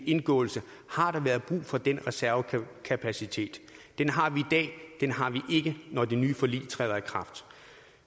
indgåelse har været brug for den reservekapacitet den har vi i dag den har vi ikke når det nye forlig træder i kraft